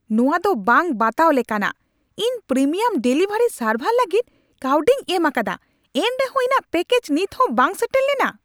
ᱱᱚᱶᱟ ᱫᱚ ᱵᱟᱝ ᱵᱟᱛᱟᱣ ᱞᱮᱠᱟᱱᱟᱜ ! ᱤᱧ ᱯᱨᱤᱢᱤᱭᱟᱢ ᱰᱮᱞᱤᱵᱷᱟᱨᱤ ᱥᱟᱨᱵᱷᱟᱨ ᱞᱟᱹᱜᱤᱫ ᱠᱟᱹᱣᱰᱤᱧ ᱮᱢ ᱟᱠᱟᱫᱟ, ᱮᱱᱨᱮᱦᱚᱸ ᱤᱧᱟᱹᱜ ᱯᱮᱠᱮᱡᱽ ᱱᱤᱛᱦᱚᱸ ᱵᱟᱝ ᱥᱮᱴᱮᱨ ᱞᱮᱱᱟ ᱾